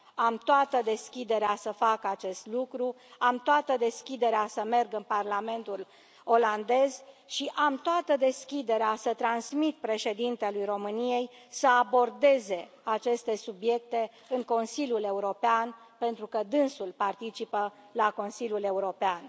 Am toată deschiderea să fac acest lucru, am toată deschiderea să merg în Parlamentul olandez și am toată deschiderea să transmit președintelui României să abordeze aceste subiecte în Consiliul European, pentru că dânsul participă la Consiliul European.